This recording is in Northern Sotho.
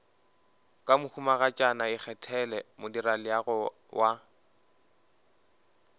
ke mohumagatšana ikgethele modirelaleago wa